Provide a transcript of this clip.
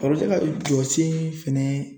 ka jɔsen fɛnɛ